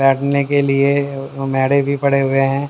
बैठने के लिए मैड़े भी पड़े हुए हैं।